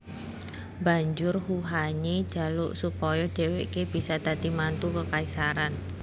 Banjur Huhanye jaluk supaya dheweke bisa dadi mantu kekaisaran